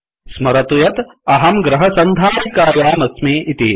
स्मरतु यत् अहं गृहसन्धारिकायामस्मि इति